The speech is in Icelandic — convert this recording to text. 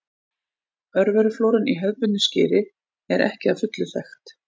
Örveruflóran í hefðbundnu skyri er ekki að fullu þekkt.